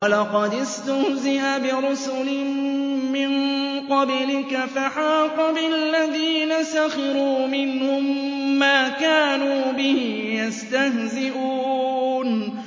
وَلَقَدِ اسْتُهْزِئَ بِرُسُلٍ مِّن قَبْلِكَ فَحَاقَ بِالَّذِينَ سَخِرُوا مِنْهُم مَّا كَانُوا بِهِ يَسْتَهْزِئُونَ